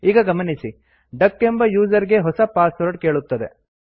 ಈಗ ಗಮನಿಸಿ ಡಕ್ ಎಂಬ ಯೂಸರ್ ಗೆ ಹೊಸ ಪಾಸ್ವರ್ಡ್ ಕೇಳುತ್ತದೆ